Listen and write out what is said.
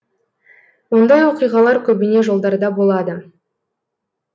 ондай оқиғалар көбіне жолдарда болады